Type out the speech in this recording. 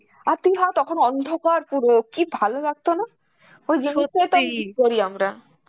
আর তুই ভাব তখন অন্ধকার পুরো, কি ভালো লাগত না? ওই miss করি আমরা.